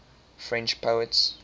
french poets